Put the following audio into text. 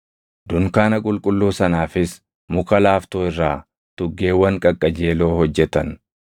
Dunkaana qulqulluu sanaafis muka laaftoo irraa tuggeewwan qaqqajeeloo hojjetan.